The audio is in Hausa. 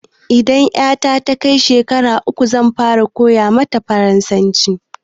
Idan ƴata ta kai shekara uku zan fara koya mata farasanci